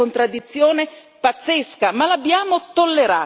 Allora noi dobbiamo uscire da questo relativismo culturale.